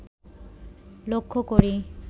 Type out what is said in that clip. লক্ষ করি